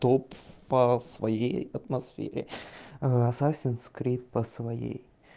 топ по своей атмосфере а асасин скрит по своей